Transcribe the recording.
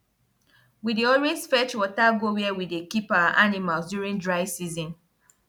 we dey always fetch water go where we dey keep our animals during dry season